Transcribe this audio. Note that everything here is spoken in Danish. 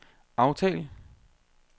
aftal